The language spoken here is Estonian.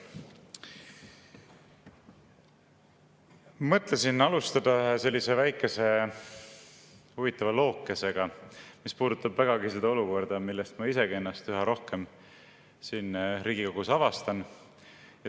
Mõtlesin alustada ühe väikese huvitava lookesega, mis puudutab vägagi seda olukorda, millest ma ka ennast üha rohkem siin Riigikogus avastan.